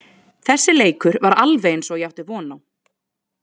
Þessi leikur var alveg eins og ég átti von á.